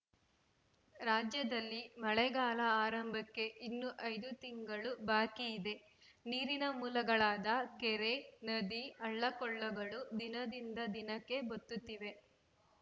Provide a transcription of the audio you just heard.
ರಾಜ್ಯದಲ್ಲಿ ಮಳೆಗಾಲ ಆರಂಭಕ್ಕೆ ಇನ್ನು ಐದು ತಿಂಗಳು ಬಾಕಿದೆ ನೀರಿನ ಮೂಲಗಳಾದ ಕೆರೆ ನದಿ ಹಳ್ಳಕೊಳ್ಳಗಳು ದಿನದಿಂದ ದಿನಕ್ಕೆ ಬತ್ತುತ್ತಿವೆ